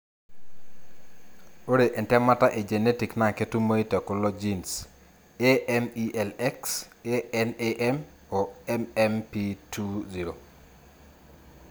Ore entemata e Genetic naa ketumoyu tekulo genes AMELX, ANAM o MMP20.